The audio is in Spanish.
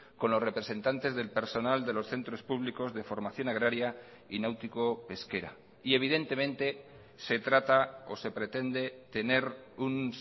con los representantes del personal de los centros públicos de formación agraria y náutico pesquera y evidentemente se trata o se pretende tener un